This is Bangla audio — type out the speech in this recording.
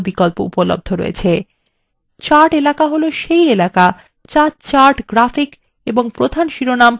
chart এলাকা হল key এলাকা the chart graphic এবং প্রধান শিরোনাম ও key পরিবেষ্ঠিত করে থাকে